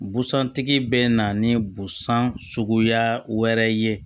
Busan tigi bɛ na ni busan suguya wɛrɛ ye